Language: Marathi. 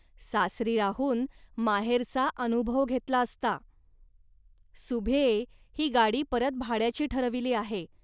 सासरी राहून माहेरचा अनुभव घेतला असता. ."सुभ्ये, ही गाडी परत भाड्याची ठरविली आहे